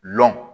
Lɔn